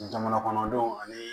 Jamana kɔnɔdenw ani